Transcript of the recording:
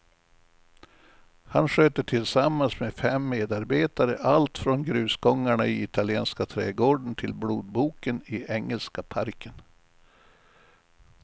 Han sköter tillsammans med fem medarbetare allt från grusgångarna i italienska trädgården till blodboken i engelska parken.